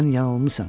Sən yanılmısan.